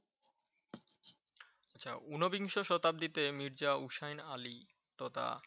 আচ্ছা। ঊনবিংশ শতাব্দীতে মির্জা হুসাইন আলী তথা